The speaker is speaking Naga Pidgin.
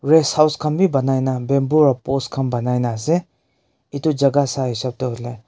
rest house khan b pai nai bamboo para post khan pai nai ase etu jhaka sai hisap hoiley--